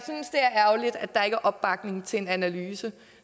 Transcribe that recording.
ærgerligt at der ikke er opbakning til en analyse